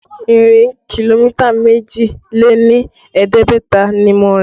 Ìrìn kìlómítà méjì lé ní ẹ̀ẹ́dẹ́gbẹ̀ta ni mo rìn